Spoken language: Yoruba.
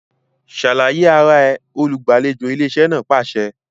Ṣàlàyé ara rẹ! olùgbàlejò ilé iṣẹ́ náà pàṣẹ